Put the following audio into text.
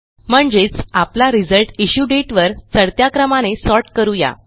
म्हणजेच आपला result issue date वर चढत्या क्रमाने सॉर्ट करू या